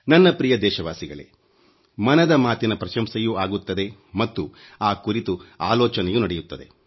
ನನ್ನ ಪ್ರಿಯ ದೇಶವಾಸಿಗಳೇ ಮನದ ಮಾತಿನ ಪ್ರಶಂಸೆಯೂ ಆಗುತ್ತದೆ ಮತ್ತು ಆ ಕುರಿತು ಆಲೋಚನೆಯೂ ನಡೆಯುತ್ತದೆ